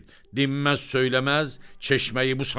Dinməz, söyləməz, çeşməyi bu saat ver.